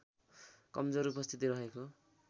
कमजोर उपस्थिति रहेको